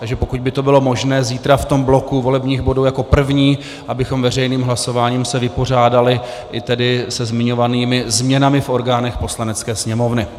Takže pokud by to bylo možné, zítra v tom bloku volebních bodů jako první, abychom veřejným hlasováním se vypořádali i tedy se zmiňovanými změnami v orgánech Poslanecké sněmovny.